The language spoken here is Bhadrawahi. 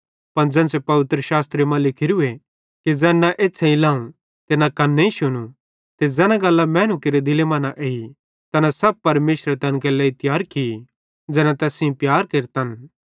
पन ज़ेन्च़रे पवित्रशास्त्रेरे मां लिखोरूए कि ज़ैन न एछ़्छ़ेईं लाव न कन्नेईं शुनू ते ज़ैना गल्लां मैनू केरे दिले मां न एई तैना सब परमेशरे तैन केरे लेइ तियार की ज़ैना तैस सेइं प्यार केरतन